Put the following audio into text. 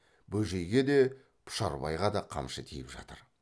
бөжейге де пұшарбайға да қамшы тиіп жатыр